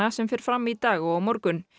sem fer fram í dag og á morgun